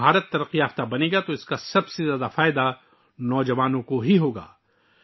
جب ہندوستان ترقی یافتہ ہوگا تو نوجوانوں کو سب سے زیادہ فائدہ ہوگا